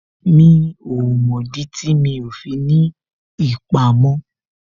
Mi ò mọ̀ dí tí mi ò fi ní ìpamọ́